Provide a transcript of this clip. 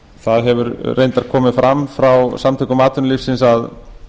það hefur reyndar komið fram frá samtökum atvinnulífsins að